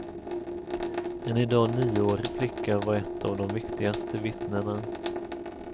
En i dag nioårig flicka var ett av de viktigaste vittnena.